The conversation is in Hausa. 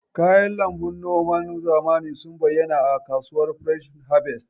Kayan lambun noman zamani sun bayyana a a kasuwar fresh harvest.